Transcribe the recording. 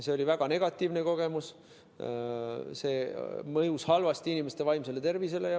See oli väga negatiivne kogemus, see mõjus halvasti inimeste vaimsele tervisele.